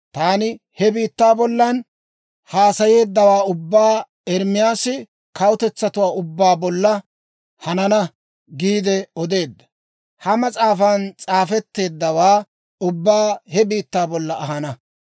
Taani he biittaa bollan haasayeeddawaa ubbaa, Ermaasi kawutetsatuwaa ubbaa bolla, «Hanana» giide odeedda, ha mas'aafan s'aafetteeddawaa ubbaa he biittaa bollan ahana.